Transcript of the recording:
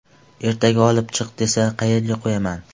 Ertaga olib chiq, desa qayerga qo‘yaman.